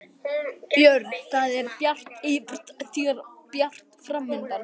Björn: Það er bjart yfir þér og bjart framundan?